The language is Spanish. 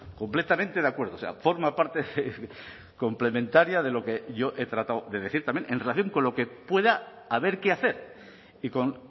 completamente de acuerdo o sea forma parte complementaria de lo que yo he tratado de decir también en relación con lo que pueda haber qué hacer y con